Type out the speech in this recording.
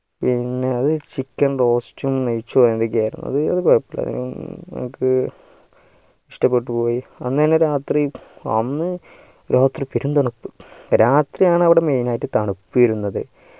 പിന്നെ അത് chicken roast ഉം നെയ്‌ച്ചോറും എന്തൊക്കെ ആയിരുന്നു അതൊന്നും കൊഴുപ്പല്ല അത് നമ്മക്ക് ഇഷ്ടപ്പെട്ടു ആന്ന് തന്നെ രാത്രി അന്ന് രാത്രി പേരും തണുപ്പ് രാത്രിയാണ് അവിടെ main ആയിട്ട് തണുപ്പ് വരുന്നത്